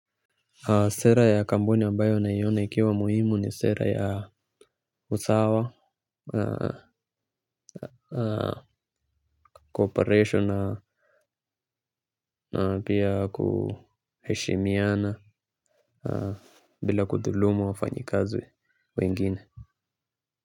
Sera ya kampuni ambayo na liona ikiwa muhimu ni sera ya usawa Cooperation na pia kuheshimiana. Bila kudhulumu wafanyikazi wengine.